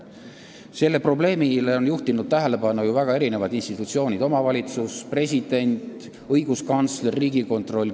Sellele probleemile on juhtinud tähelepanu ju väga erinevad institutsioonid: omavalitsus, president, õiguskantsler, Riigikontroll.